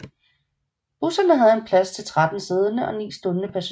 Busserne havde plads til 13 siddende og 9 stående passagerer